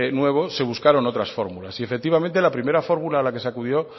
nuevo se buscaron otras fórmulas y efectivamente la primera fórmula a la que se acudió